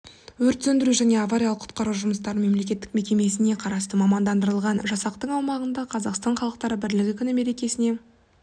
өрт сөндіру және авариялық-құтқару жұмыстары мемлекеттік мекемесіне қарасты мамандандырылған жасақтың аумағында қазақстан халықтары бірлігі күні мерекесіне